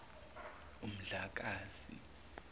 umdlakazi